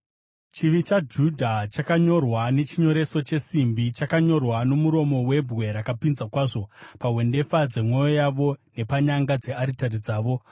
“Chivi chaJudha chakanyorwa nechinyoreso chesimbi, chakanyorwa nomuromo webwe rakapinza kwazvo, pahwendefa dzemwoyo yavo nepanyanga dzearitari dzavo.